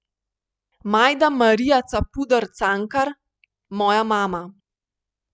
Majda Marija Capuder Cankar, moja mama.